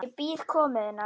Ég bíð komu þinnar.